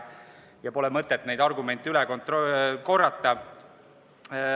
Pole mõtet neid argumente üle korrata.